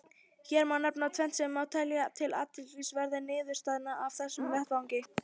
Hér má nefna tvennt sem má telja til athyglisverðra niðurstaðna af þessum vettvangi.